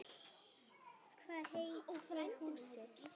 Hvað heitir húsið?